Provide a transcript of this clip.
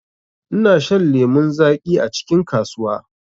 ina shan lemu zaƙi acikin kasuwa.